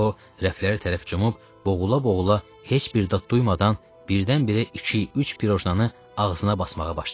O rəfləri tərəf cumub, boğula-boğula heç bir dad duymadan birdən-birə iki-üç pirojnanı ağzına basmağa başladı.